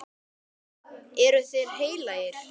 Eru þeir heilagir?